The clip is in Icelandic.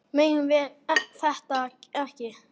Við megum þetta ekki!